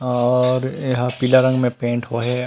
और यहाँ पीला रंग में पेंट होय हे।